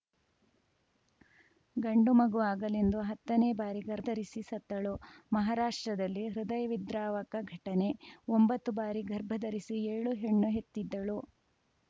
ಗಂಡು ಮಗು ಆಗಲೆಂದು ಹತ್ತನೇ ಬಾರಿ ಗರ್ ಧರಿಸಿ ಸತ್ತಳು ಮಹಾರಾಷ್ಟ್ರದಲ್ಲಿ ಹೃದಯವಿದ್ರಾವಕ ಘಟನೆ ಒಂಬತ್ತು ಬಾರಿ ಗರ್ಭ ಧರಿಸಿ ಏಳು ಹೆಣ್ಣು ಹೆತ್ತಿದ್ದಳು